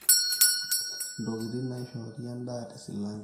ntokitin naishori endaa te silange